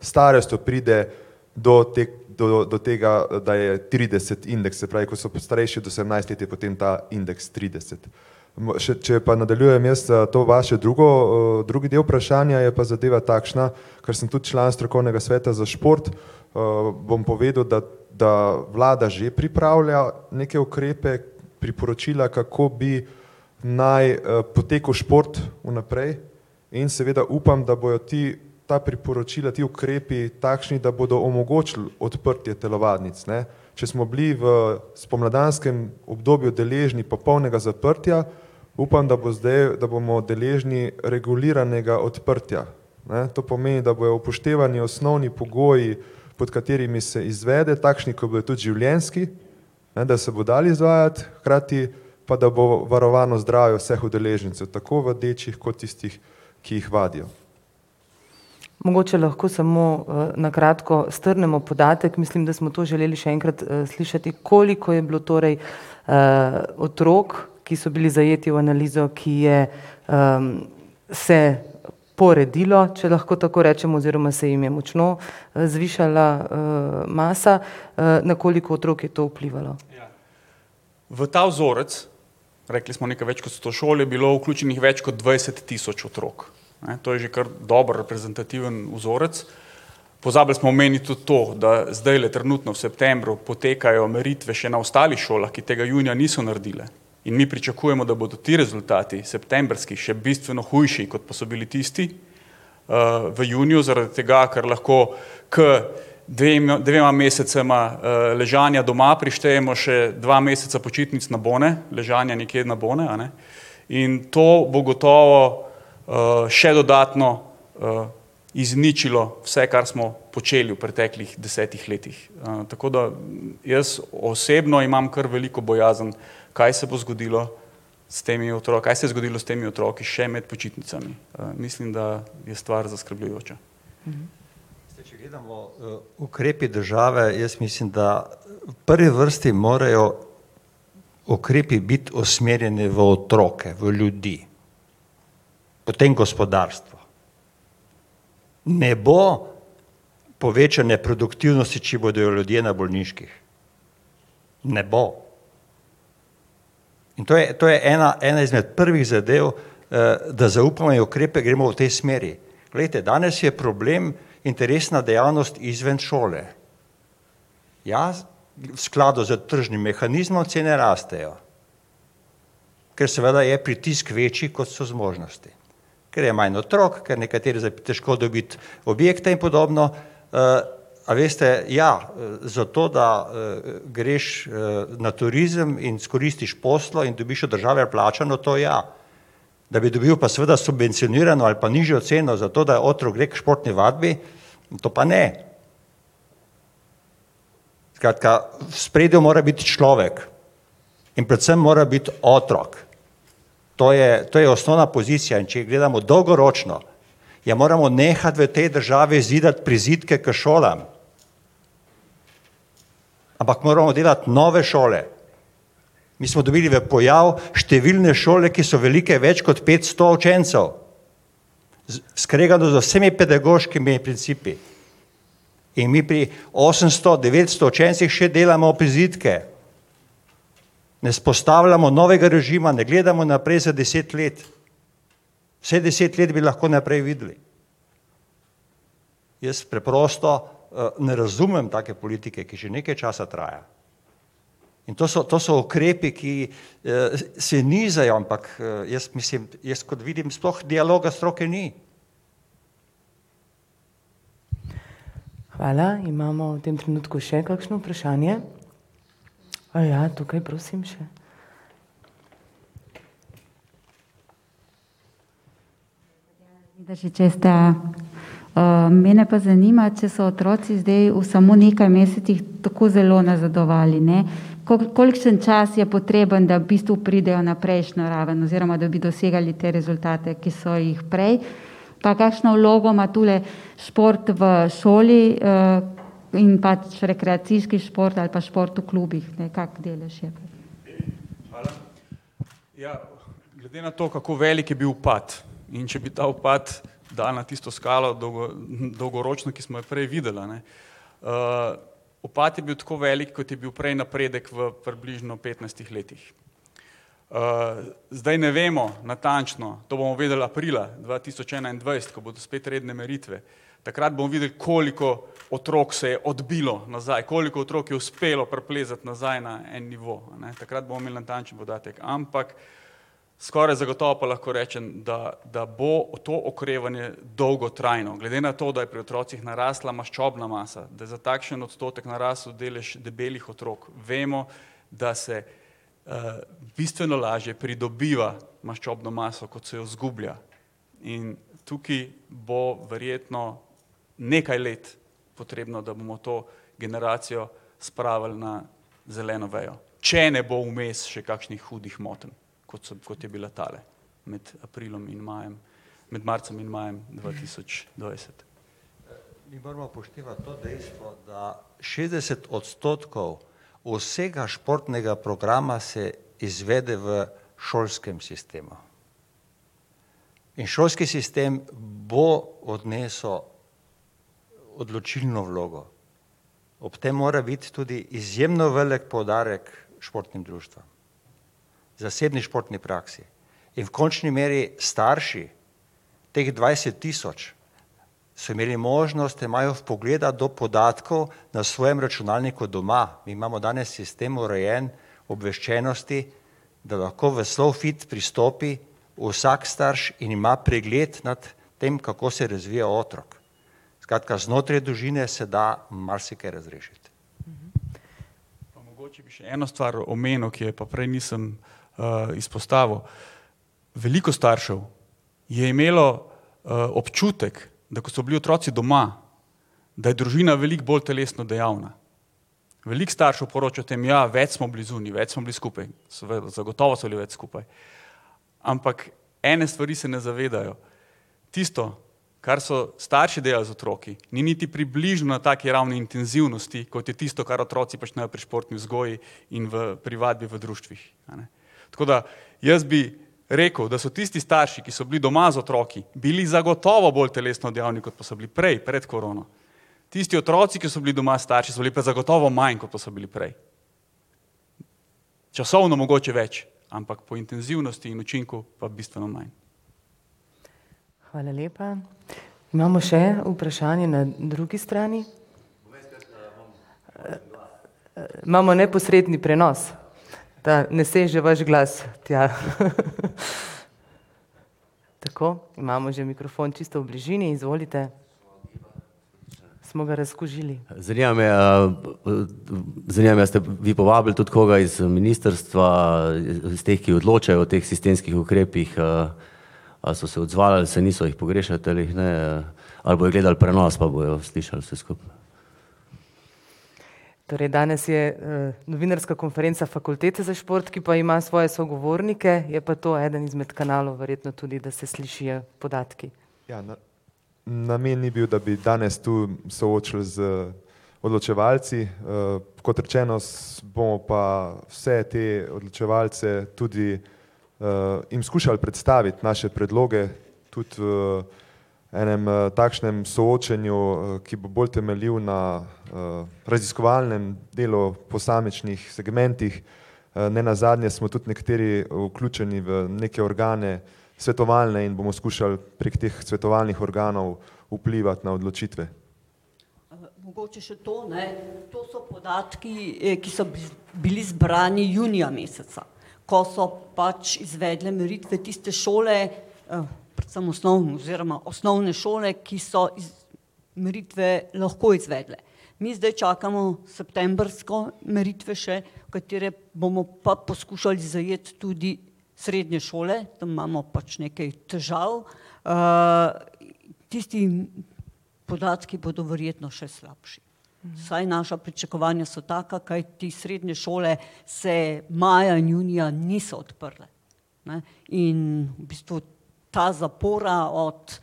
starostjo pride do te do tega, da je trideset indeks, se pravi, ko so starejši od osemnajst let, je potem ta indeks trideset. Še če pa nadaljujem jaz to vaše drugo drugi del vprašanja, je pa zadeva takšna, ker sem tudi član strokovnega sveta za šport, bom povedal, da da vlada že pripravlja neke ukrepe, priporočila, kako bi naj potekal šport vnaprej, in seveda upam, da bojo ti, ta priporočila, ti ukrepi, takšni, da bodo omogočili odprtje telovadnic, ne. Če smo bili v spomladanskem obdobju deležni popolnega zaprtja, upam, da bo zdaj, da bomo deležni reguliranega odprtja, ne, to pomeni, da bojo upoštevani osnovni pogoji pod katerimi se izvede, takšni, ki bojo tudi življenjski, ne, da se bo dalo izvajati, hkrati pa da bo varovano zdravje vseh udeležencev - tako vadečih kot tistih, ki jih vadijo. Mogoče lahko samo na kratko strnemo podatek, mislim, da smo to želeli še enkrat slišati. Koliko je bilo torej otrok, ki so bili zajeti v analizo, ki je se poredilo, če lahko tako rečem, oziroma se jim je močno zvišala masa, na koliko otrok je to vplivalo? V ta vzorec, rekli smo nekaj več kot sto šol je bilo vključenih, več kot dvajset tisoč otrok, ne, to je že kar dobro reprezentativen vzorec. Pozabili smo omeniti tudi to, da zdajle trenutno v septembru potekajo meritve še na ostalih šolah, ki tega junija niso naredile, in mi pričakujemo, da bodo ti rezultati, septembrskih, še bistveno hujši, kot pa so bili tisti, v juniju, zaradi tega, ker lahko ker dvema mesecema ležanja doma prištejemo še dva meseca počitnic na bone, ležanje nekje na bone, a ne, in to bo gotovo še dodatno izničilo vse, kar smo počeli v preteklih desetih letih. tako da jaz osebno imam kar veliko bojazen, kaj se bo zgodilo s temi kaj se je zgodilo s temi otroki še med počitnicami. mislim, da je stvar zaskrbljujoča. Zdaj, če gledamo ukrepi države, jaz mislim, da v prvi vrsti morajo ukrepi biti usmerjeni v otroke, v ljudi, potem gospodarstvo. Ne bo povečanje produktivnosti, če bodo ljudje na bolniških. Ne bo. In to je, to je ena, ena izmed prvih zadev, da zaupanje v ukrepe gremo v tej smeri. Glejte, danes je problem interesna dejavnost izven šole. Ja, v skladu s tržnim mehanizmom cene rastejo. Ker seveda je pritisk večji, kot so zmožnosti. Ker je manj otrok, ker nekatere težko dobiti objekte in podobno. a veste, ja, zato, da greš na turizem in izkoristiš posteljo in dobiš od države plačano, to ja. Da bi dobil pa seveda subvencionirano ali pa nižjo ceno, zato da otrok gre k športni vadbi, to pa ne. Skratka, v ospredju mora biti človek in predvsem mora biti otrok. To je, to je osnovna pozicija, in če gledamo dolgoročno, ja moramo nehati v tej državi zidati prizidke k šolam. Ampak moramo delati nove šole, mi smo dobili v pojav številne šole, ki so velike več kot petsto učencev. skregano z vsemi pedagoškimi principi. In mi pri osemsto, devetsto učencih še delamo prizidke. Ne vzpostavljamo novega režima, ne gledamo naprej za deset let. Vsaj deset let bi lahko naprej videli. Jaz preprosto ne razumem take politike, ki že nekaj časa traja. In to so, to so ukrepi, ki se nizajo, ampak jaz mislim, jaz, kot vidim, sploh dialoga stroke ni. Hvala, imamo v tem trenutku še kakšno vprašanje? Ja, tukaj prosim še. [ime in priimek] , STA. mene pa zanima, če so otroci zdaj v samo nekaj mesecih tako zelo nazadovali, ne, koliko, kolikšen čas je potreben, da v bistvu pridejo na prejšnjo raven oziroma da bi dosegali te rezultate, ki so jih prej. Pa kakšno vlogo ima tule šport v šoli in pač rekreacijski šport ali pa šport v klubih, ne, kak delež je? Ja, glede na to, kako velik je bil upad, in če bi ta upad dali na tisto skalo dolgoročno, ki smo jo prej videli, a ne, upad je bil tako velik, kot je bil prej napredek v približno petnajstih letih. zdaj ne vemo natančno, to bomo vedeli aprila dva tisoč enaindvajset, ko bodo spet redne meritve. Takrat bomo videli, koliko otrok se je odbilo nazaj, koliko otrok je uspelo priplezati nazaj na en nivo, a ne, takrat bomo imeli natančen podatek, ampak skoraj zagotovo pa lahko rečem, da, da bo to okrevanje dolgotrajno, glede na to, da je pri otrocih narasla maščobna masa, da za takšen odstotek narasel delež debelih otrok, vemo, da se bistveno lažje pridobiva maščobno maso, kot se jo zgublja. In tukaj bo verjetno nekaj let potrebno, da bomo to generacijo spravili na zeleno vejo, če ne bo vmes še kakšnih hudih motenj, kot so, kot je bila tale med aprilom in majem, med marcem in majem dva tisoč dvajset. Moramo upoštevati to dejstvo, da šestdeset odstotkov vsega športnega programa se izvede v šolskem sistemu. In šolski sistem bo odnesel odločilno vlogo. Ob tem mora biti tudi izjemo velik poudarek športnim društvom, zasebni športni praksi. In v končni meri starši teh dvajset tisoč, so imeli možnost, imajo vpogleda do podatkov na svojem računalniku doma. Mi imamo danes sistem urejen, obveščenosti, da lahko v SLOfit pristopi vsak starš in ima pregled nad tem, kako se razvije otrok. Skratka, znotraj družine se da marsikaj razrešiti. No, mogoče bi še eno stvar omenil, ki je pa prej nisem izpostavil. Veliko staršev je imelo občutek, da ko so bili otroci doma, da je družina veliko bolj telesno dejavna. Veliko staršev poroča o tem, ja, več smo bili zunaj, več smo bili skupaj, seveda, zagotovo so bili več skupaj. Ampak, ene stvari se ne zavedajo. Tisto, kar so starši delali z otroki, ni niti približno na taki ravni intenzivnosti, kot je tisto, kar otroci počnejo pri športni vzgoji in v pri vadbi v društvih, a ne. Tako da jaz bi rekel, da so tisti starši, ki so bili doma z otroki, bili zagotovo bolj telesno dejavni, kot pa so bili prej, pred korono. Tisti otroci, ki so bili doma s starši so bili pa zagotovo manj, kot pa so bili prej. Časovno mogoče več, ampak po intenzivnosti in učinku pa bistveno manj. Hvala, lepa. Imamo še vprašanje na drugi strani. Imamo neposredni prenos. Da ne seže vaš glas tja. Tako, imamo že mikrofon čisto v bližini, izvolite. Smo ga razkužili. Zanima me zanima me, a ste vi povabili tudi koga iz ministrstva, iz teh, ki odločajo o teh sistemskih ukrepih a so se odzvali ali se niso, jih pogrešate ali jih ne? Ali bojo gledali prenos pa bojo slišali vse skupaj? Torej danes je novinarska konferenca Fakultete za šport, ki pa ima svoje sogovornike, je pa to eden izmed kanalov, verjetno tudi, da se slišijo podatki. Ja, Namen ni bil, da bi danes tu soočili z odločevalci Kot rečeno, bomo pa vse te odločevalce tudi jim skušali predstaviti naše predloge. Tudi enem takšnem soočenju ki bo bolj temeljil na raziskovalnem delu posamičnih segmentih nenazadnje smo tudi nekateri vključeni v neke organe, svetovalne, in bomo skušali prek teh svetovalnih organov vplivati na odločitve. Mogoče še to, ne. To so podatki, ki so bili zbrani junija meseca. Ko so pač izvedle meritve tiste šole, predvsem oziroma osnovne šole, ki so meritve lahko izvedle. Mi zdaj čakamo septembrsko meritve še, katere bomo pa poskušali zajeti tudi srednje šole, tam imamo pač nekaj težav. tisti podatki bodo verjetno še slabši. Vsaj naša pričakovanja so taka, kajti srednje šole se maja in junija niso odprle, ne. In v bistvu ta zapora od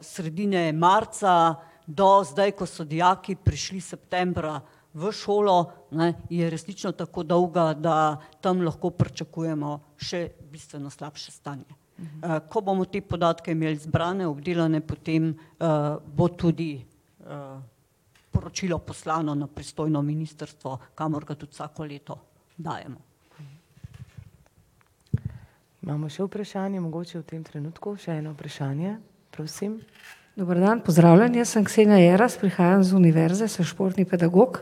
sredine marca do zdaj, ko so dijaki prišli septembra v šolo, ne, je resnično tako dolga, da tam lahko pričakujemo še bistveno slabše stanje. Ko bomo te podatke imeli zbrane, obdelane, potem bo tudi poročilo poslano na pristojno ministrstvo, kamor ga tudi vsako leto dajemo. Imamo še vprašanje mogoče v tem trenutku? Še eno vprašanje, prosim. Dober dan, pozdravljeni, jaz sem [ime in priimek] , prihajam z univerze, sem športni pedagog.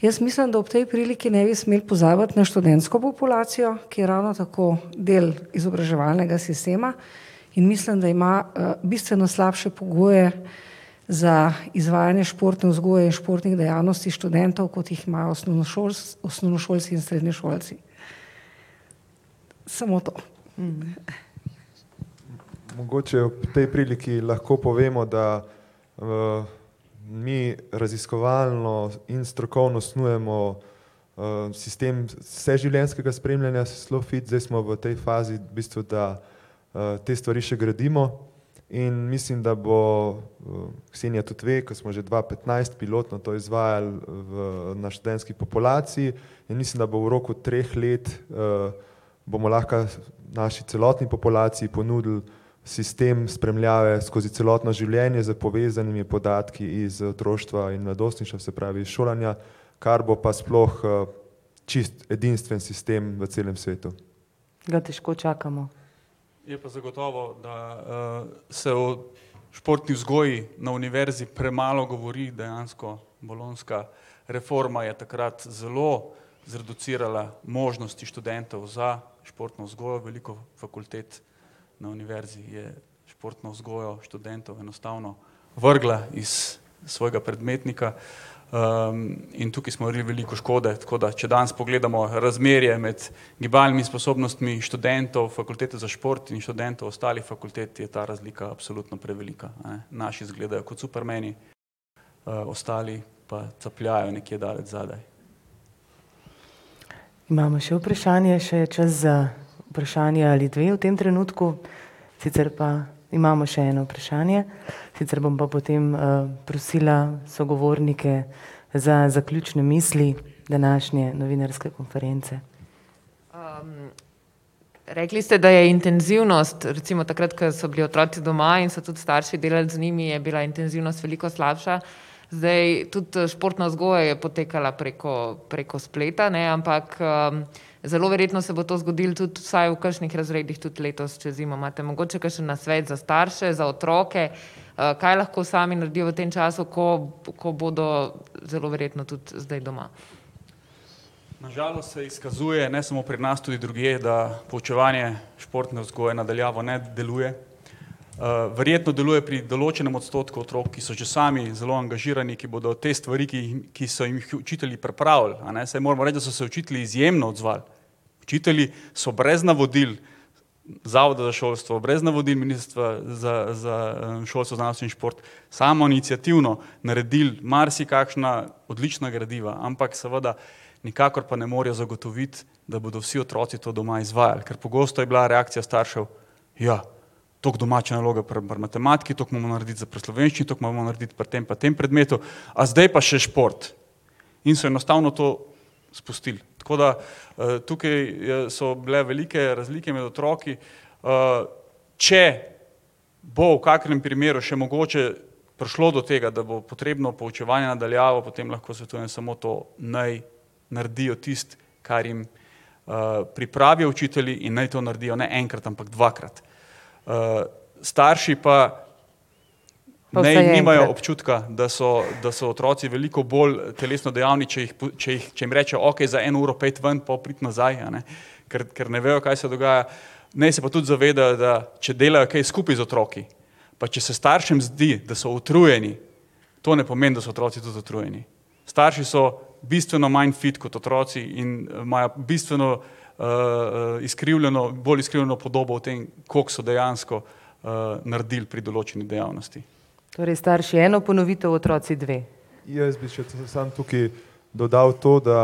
Jaz mislim, da ob tej priliki ne bi smeli pozabiti na študentsko populacijo, ki je ravno tako del izobraževalnega sistema in mislim, da ima bistveno slabše pogoje za izvajanje športne vzgoje in športnih dejavnosti študentov, kot jih imajo osnovnošolci in srednješolci. Samo to. Mogoče ob tej priliki lahko povemo, da mi raziskovalno in strokovno snujemo sistem vseživljenjskega spremljanja SLOfit, zdaj smo v tej fazi v bistvu, da te stvari še gradimo, in mislim, da bo, Ksenja tudi ve, ke smo že dva petnajst pilotno to izvajali v na študentski populaciji, in mislim, da bo v roku treh let bomo lahko naši celotni populaciji ponudili sistem spremljave skozi celotno življenje s povezanimi podatki iz otroštva in mladostništva, se pravi šolanja, kar bo pa sploh čisto edinstven sistem v celem svetu. Ga težko čakamo. Je pa zagotovo, da se o športni vzgoji na univerzi premalo govori, dejansko bolonjska reforma je takrat zelo zreducirala možnosti študentov za športno vzgojo, veliko fakultet na univerzi je športno vzgojo študentom enostavno vrgla iz svojega predmetnika. in tukaj smo naredili veliko škode, tako da če danes pogledamo razmerje med gibalnimi sposobnostmi študentov Fakultete za šport in študentov ostalih fakultet, je ta razlika absolutno prevelika, a ne, naši izgledajo kot supermeni, ostali pa capljajo nekje daleč zadaj. Imamo še vprašanje, še je čas za vprašanje ali dve v tem trenutku. Sicer pa imamo še eno vprašanje, sicer bom pa potem prosila sogovornike za zaključne misli današnje novinarske konference. Rekli ste, da je intenzivnost recimo takrat, ko so bili otroci doma in so tudi starši delali z njimi, je bila intenzivnost veliko slabša. Zdaj tudi športna vzgoja je potekala preko, preko spleta, ne, ampak zelo verjetno se bo to zgodilo tudi, vsaj v kakšnih razredih, tudi letos čez zimo. Imate mogoče kakšen nasvet za starše, za otroke? kaj lahko sami naredijo v tem času, ko ko bodo zelo verjetno tudi zdaj doma? Na žalost se izkazuje, ne samo pri nas, tudi drugje, da poučevanje športne vzgoje na daljavo ne deluje. verjetno deluje pri določenem odstotku otrok, ki so že sami zelo angažirani, ki bodo te stvari, ki jih, ki so jim jih učitelji pripravili, a ne, saj moramo reči, da so se učitelji izjemno odzvali. Učitelji so brez navodil Zavoda za šolstvo, brez navodil Ministrstva za za šolstvo, znanost in šport samoiniciativno naredili marsikakšna odlična gradiva, ampak seveda nikakor pa ne morejo zagotoviti, da bodo vsi otroci to doma izvajali, kar pogosto je bila reakcija staršev, ja, tako domače naloge pri, pri matematiki, tako moramo narediti za pri slovenščini, tako moramo narediti pri tem pa tem predmetu, a zdaj pa še šport? In so enostavno to spustili. Tako da tukaj je, so bile velike razlike med otroki. Če bo v kakem primeru še mogoče prišlo do tega, da bo potrebno poučevanje na daljavo, potem lahko svetujem samo to, naj naredijo tisto, kar jim pripravijo učitelji in naj to naredijo ne enkrat, ampak dvakrat. starši pa naj nimajo občutka, da so, da so otroci veliko bolj telesno dejavni, če jih, če jih, če jim rečejo: "Okej, za eno uro pojdi ven, pol pridi nazaj", a ne, ker, ker ne vejo, kaj se dogaja. Naj se pa tudi zavedajo, da če delajo kaj skupaj z otroki pa če se staršem zdi, da so utrujeni, to ne pomeni, da so otroci tudi utrujeni. Starši so bistveno manj fit kot otroci in imajo bistveno izkrivljeno, bolj izkrivljeno podobo o tem, koliko so dejansko naredili pri določeni dejavnosti. Torej starši eno ponovitev, otroci dve. Jaz bi še samo tukaj dodal to, da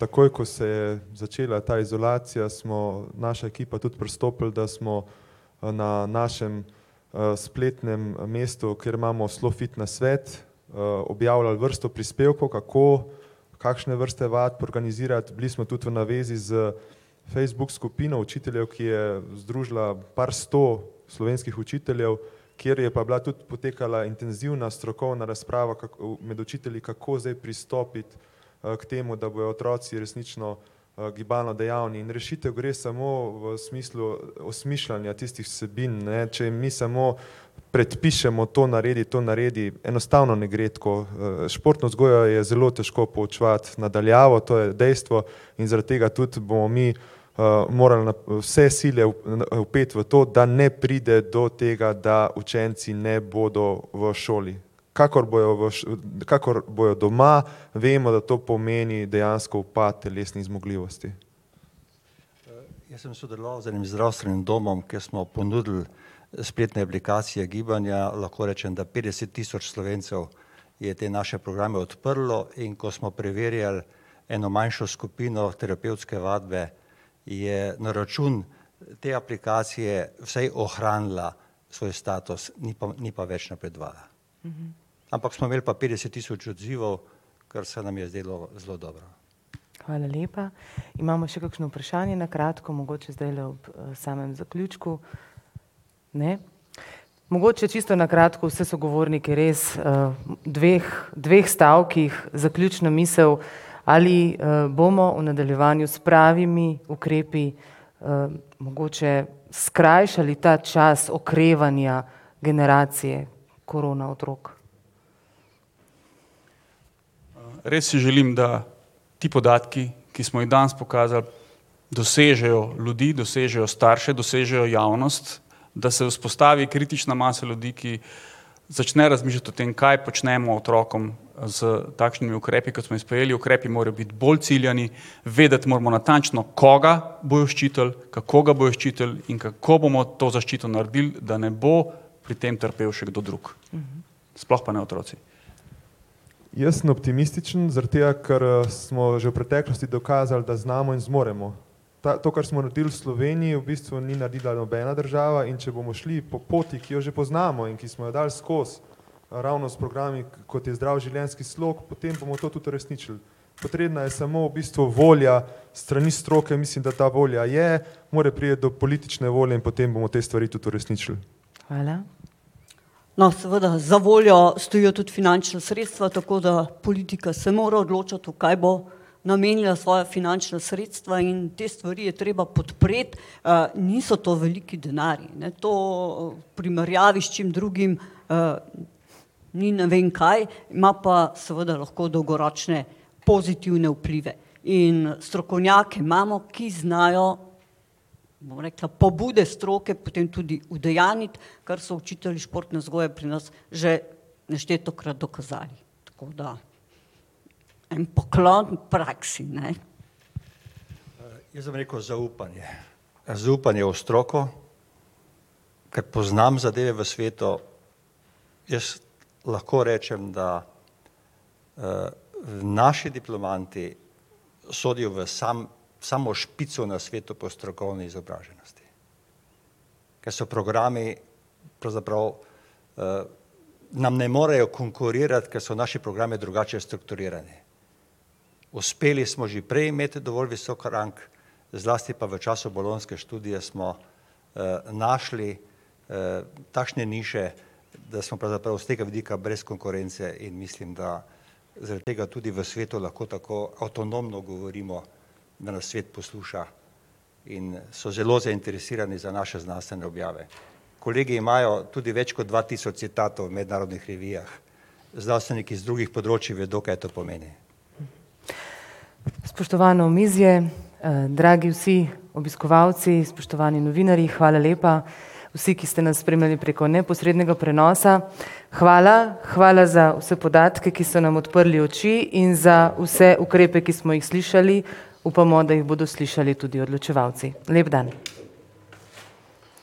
takoj, ko se je začela ta izolacija, smo naša ekipa tudi pristopili, da smo na, našem spletnem mestu, kjer imamo SLOfit nasvet objavljali vrsto prispevkov, kako, kakšne vrste vadb organizirati, bili smo tudi na zvezi s Facebook skupino učiteljev, ki je združila par sto slovenskih učiteljev, kjer je pa bila tudi potekala intenzivna strokovna razprava, med učitelji, kako zdaj pristopiti k temu, da bodo otroci resnično gibalno dejavni in rešitev gre samo v smislu osmišljanja tistih vsebin, ne, če jim mi samo predpišemo: to naredi, to naredi, enostavno ne gre tako športno vzgojo je zelo težko poučevati na daljavo, to je dejstvo. In zaradi tega tudi bomo mi moral vse sile vpeti v to, da ne pride do tega, da učenci ne bodo v šoli. Kakor bojo v kakor bojo doma, vemo, da to pomeni dejansko upad telesnih zmogljivosti. Jaz sem sodeloval z enim zdravstvenim domom, kjer smo ponudili spletne aplikacije gibanja, lahko rečem, da petdeset tisoč Slovencev je te naše programe odprlo, in ko smo preverjali eno manjšo skupino terapevtske vadbe je na račun te aplikacije vsaj ohranila svoj status, ni pa, ni pa več napredovala. Ampak smo imeli pa petdeset tisoč odzivov, kar se nam je zdelo zelo dobro. Hvala lepa. Imamo še kakšno vprašanje, na kratko mogoče zdajle ob samem zaključku. Ne? Mogoče čisto na kratko, vse sogovornike res, dveh, dveh stavkih zaključna misel. Ali bomo v nadaljevanju s pravimi ukrepi mogoče skrajšali ta čas okrevanja generacije korona otrok? Res si želim, da ti podatki, ki smo jih danes pokazali, dosežejo ljudi, dosežejo starše, dosežejo javnost, da se vzpostavi kritična masa ljudi, ki začne razmišljati o tem, kaj počnemo otrokom s takšnimi ukrepi, kot smo jih sprejeli, ukrepi morajo biti bolj ciljani, vedeti moramo natančno koga bojo ščitili, kako ga bojo ščitili in kako bomo to zaščito naredili, da ne bo pri tem trpel še kdo drug. Sploh pa ne otroci. Jaz sem optimističen, zaradi tega ker smo že v preteklosti dokazali, da znamo in zmoremo. Ta, to kar smo naredili v Sloveniji, v bistvu ni naredila nobena država, in če bomo šli po poti, ki jo že poznamo in ki smo jo dali skoz, ravno s programi, kot je Zdrav življenjski slog, potem bomo to tudi uresničili. Potrebna je samo v bistvu volja s strani stroke, mislim, da ta volja je, more priti do politične volje in potem bomo te stvari tudi uresničili. Hvala. No, seveda za voljo stojijo tudi finančna sredstva, tako da politika se mora odločati, v kaj bo namenila svoja finančna sredstva in te stvari je treba podpreti. niso to veliki denarji, ne, to v primerjavi s čim drugim ni ne vem kaj. Ima pa seveda lahko dolgoročne pozitivne vplive. In strokovnjake imamo, ki znajo, bom rekla, pobude stroke potem tudi udejanjiti, kar so učitelji športne vzgoje pri na že neštetokrat dokazali. Tako da, en poklon praksi, ne. Jaz bom rekel zaupanje. Zaupanje v stroko, ker poznam zadeve v svetu. Jaz lahko rečem, da naši diplomanti sodijo v sam, samo špico na svetu po strokovni izobraženosti. Ker so programi pravzaprav nam ne morejo konkurirati, kar so naši programi drugače strukturirani. Uspeli smo že prej imeti dovolj visok rang, zlasti pa v času bolonjske študije smo našli takšne niše, da smo pravzaprav iz tega vidika brez konkurence in mislim, da zaradi tega tudi v svetu lahko tako avtonomno govorimo, da nas svet posluša in so zelo zainteresirani za naše znanstvene objave. Kolegi imajo tudi več kot dva tisoč citatov v mednarodnih revijah. Znanstveniki iz drugih področjih vedo, kaj to pomeni. Spoštovano omizje, dragi vsi obiskovalci, spoštovani novinarji, hvala lepa. Vsi, ki ste nas spremljali preko neposrednega prenosa, hvala, hvala za vse podatke, ki so nam odprli oči, in za vse ukrepe, ki smo jih slišali. Upamo, da jih bodo slišali tudi odločevalci. Lep dan.